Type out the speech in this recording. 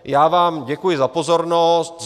Já vám děkuji za pozornost.